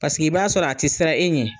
Paseke i b'a sɔrɔ a tɛ siran e ɲɛ.